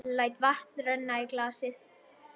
Læt vatn renna í glasið.